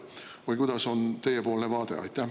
Või mis on teiepoolne vaade?